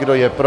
Kdo je pro?